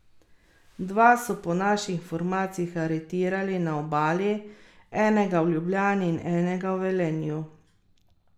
Dva so po naših informacijah aretirali na Obali, enega v Ljubljani in enega v Velenju.